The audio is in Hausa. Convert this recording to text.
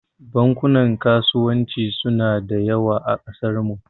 Bankunan kasuwanci suna da yawa a kasarmu.